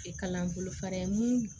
Kalan bolo fara mun